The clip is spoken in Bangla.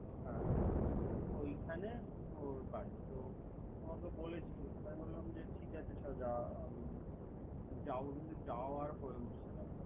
হ্যা ওইখানো ওর বাড়ি। তো আমাকে বলেছিল। আমি বললাম যে ঠিক আছে। যাও যাওযা আর হয়ে উঠছে না তো।